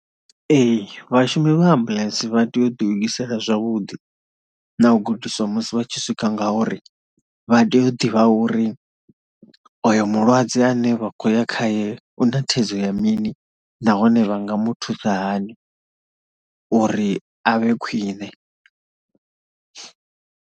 Ee vhashumi vha ambuḽentse vha tea u ḓilugisela zwavhuḓi na u gudiswa musi vha tshi swika ngauri vha tea u ḓivha uri oyo mulwadze ane vha khou ya khaye u na thaidzo ya mini nahone vha nga mu thusa hani uri a vhe khwine.